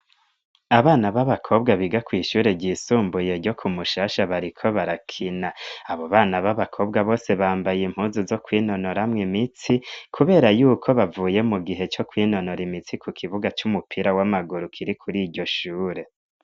Abana b'abakobwa biga kw'ishure ryisumbuye ryo ku Mushasha bariko barakina, abo bana b'abakobwa bose bambaye impuzu zo kwinonoramwo imitsi, kubera yuko bavuye mu gihe co kwinonora imitsi ku kibuga c'umupira w'amaguru kiri kuri iryo shure.